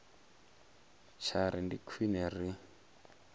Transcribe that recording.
tsha ri ndi khwine ri